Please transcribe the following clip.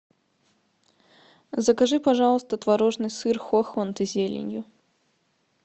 закажи пожалуйста творожный сыр хохланд с зеленью